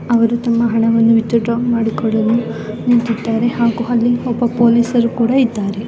ಅವರು ತಮ್ಮ ಹಣವನ್ನು ವಿಥ್ಡ್ರಾ ಮಾಡಿಕೊಳ್ಳಲು ನಿಂತಿದ್ದಾರೆ. ಹಾಗೂ ಇಲ್ಲಿ ಒಬ್ಬರು ಪೊಲೀಸ್ ಕೂಡ ಇದ್ದಾರೆ.